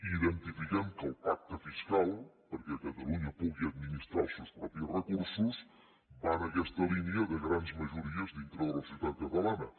identifiquem que el pacte fiscal perquè catalunya pugui administrar els seus propis recursos va en aquesta línia de grans majories dintre de la societat catalana